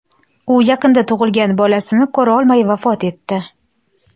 U yaqinda tug‘ilgan bolasini ko‘rolmay vafot etdi.